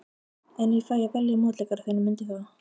En ég fæ að velja mótleikara þinn, mundu það.